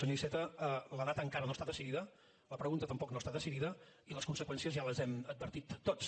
senyor iceta la data encara no està decidida la pregunta tampoc no està decidida i les conseqüències ja les hem advertit tots